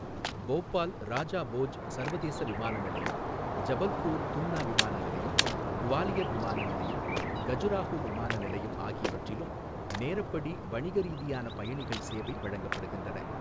போபால் ராஜா போஜ் சர்வதேச விமான நிலையம், ஜபல்பூர் தும்னா விமான நிலையம், குவாலியர் விமான நிலையம், கஜுராஹோ விமான நிலையம் ஆகியவற்றிலும் நேரப்படி வணிக ரீதியான பயணிகள் சேவை வழங்கப்படுகின்றன.